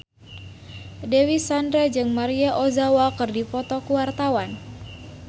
Dewi Sandra jeung Maria Ozawa keur dipoto ku wartawan